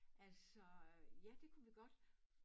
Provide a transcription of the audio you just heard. Altså øh ja det kunne vi godt